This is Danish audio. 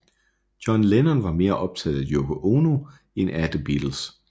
John Lennon var mere optaget af Yoko Ono end af The Beatles